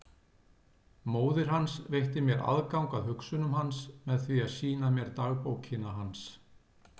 Móðir hans veitti mér aðgang að hugsunum hans með því að sýna mér dagbókina hans.